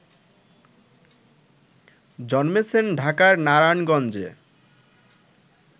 জন্মেছেন ঢাকার নারায়ণগঞ্জে